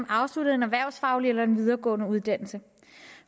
afsluttet en erhvervsfaglig eller en videregående uddannelse